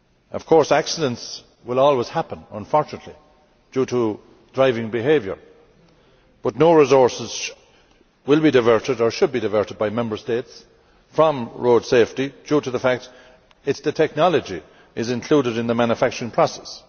Of course accidents will always happen, unfortunately, due to driving behaviour, but no resources will be diverted, or should be diverted, by Member States from road safety, due to the fact that this is a technology that is included in the manufacturing process.